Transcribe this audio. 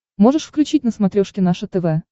можешь включить на смотрешке наше тв